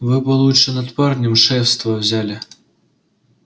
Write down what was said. вы бы лучше над парнем шефство взяли